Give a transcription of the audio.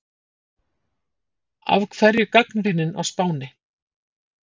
Af hverju gagnrýnin á Spáni?